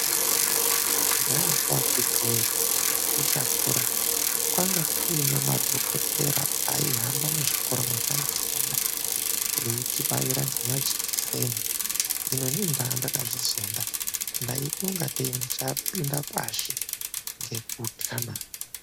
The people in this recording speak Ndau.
Kudhaya ko akhiti wee tichakura kwanga kuine madhokotera aihamba muzvikora mwataifunda veitibaira ngemajikiseni. Hino inini ndanga ndakazvizonda ndaitoingatei ndichapinda pashi ngekutya naa!